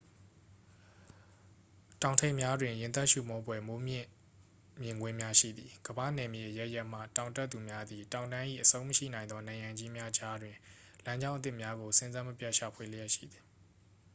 တောင်ထိပ်များတွင် ရင်သပ်ရှုမောဖွယ် မိုးမြင့် မြင်ကွင်းများ ရှိသည် ကမ္ဘာ့နယ်မြေ အရပ်ရပ်မှ တောင်တက်သူများသည် တောင်တန်း၏ အဆုံးမရှိနိုင်သော နံရံကြီးများကြားတွင် လမ်းကြောင်းအသစ်များကို စဉ်ဆက်မပြတ် ရှာဖွေလျက်ရှိသည်